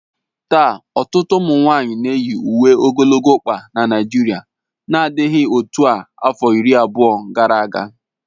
Taa, ọtụtụ ụmụ nwanyị na-eyi uwe ogologo ọkpa na Naijiria n'adịghị otu a afọ iri abụọ gara aga